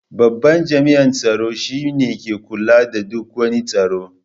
Babban jami'in tsaro shi ne mai kula da duk wani tsaro.